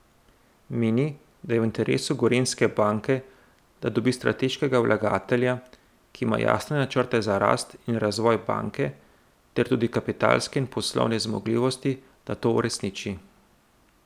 Meni, da je v interesu Gorenjske banke, da dobi strateškega vlagatelja, ki ima jasne načrte za rast in razvoj banke ter tudi kapitalske in poslovne zmogljivosti, da to uresniči.